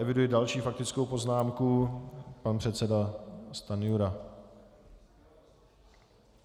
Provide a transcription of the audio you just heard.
Eviduji další faktickou poznámku - pan předseda Stanjura.